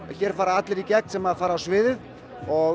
hér fara allir í gegn sem fara á svið og